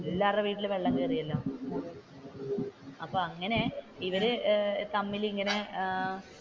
എല്ലാവരുടെയും വീട്ടിൽ വെള്ളം കയറിയല്ലോ അപ്പൊ അങ്ങനെ ഇവർ തമ്മിൽ ഇങ്ങനെ ഏർ